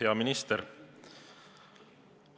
Hea minister!